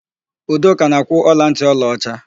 Udoka na-akwụ ọlantị ọlaọcha.